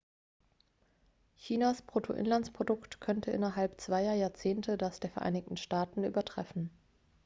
chinas bruttoinlandsprodukt könnte innerhalb zweier jahrzehnte das der vereinigten staaten übertreffen